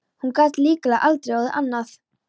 Hún gat líklega aldrei orðið annað.